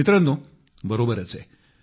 मित्रांनो बरोबरच आहे